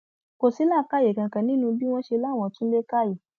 kò sí làákàyè kankan nínú bí wọn ṣe láwọn tú ilé ká yìí